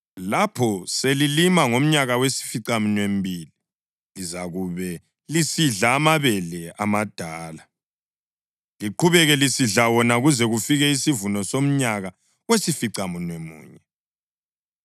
Lapho selilima ngomnyaka wesificaminwembili lizakube lisidla amabele amadala, liqhubeke lisidla wona kuze kufike isivuno somnyaka wesificamunwemunye.